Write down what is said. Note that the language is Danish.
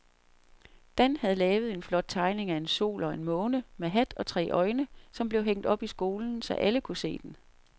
Dan havde lavet en flot tegning af en sol og en måne med hat og tre øjne, som blev hængt op i skolen, så alle kunne se den.